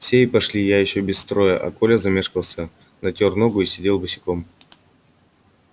все и пошли ещё без строя а коля замешкался потому что натёр ногу и сидел босиком